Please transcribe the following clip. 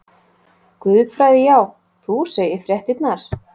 Guðfræði já, þú segir fréttirnar!